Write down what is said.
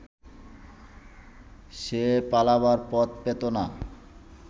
সে পালাবার পথ পেত না